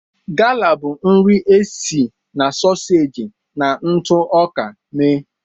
Gala bụ nri e si na soseji na ntụ ọka mee.